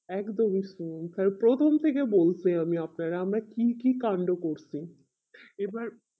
একদমি শুনুন তাহলে প্রথম থেকে বলছি আমি আপনারে আমরা কি কি কান্ড করছি এবার